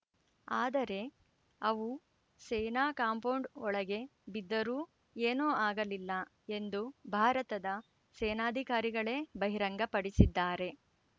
ಆದರೆ ಅವು ಸೇನಾ ಕಾಂಪೌಂಡ್‌ ಒಳಗೆ ಬಿದ್ದರೂ ಏನೂ ಆಗಲಿಲ್ಲ ಎಂದು ಭಾರತದ ಸೇನಾಧಿಕಾರಿಗಳೇ ಬಹಿರಂಗಪಡಿಸಿದ್ದಾರೆ